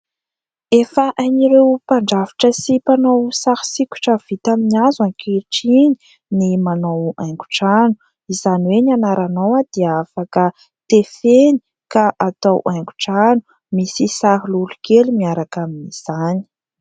Efa hain'ireo mpandrafitra sy mpanao sary sikotra vita amin'ny hazo ankehitriny ny manao haingon-trano : izany hoe ny anaranao dia afaka tefeny ka atao haingon-trano, misy sary lolokely miaraka amin'izany.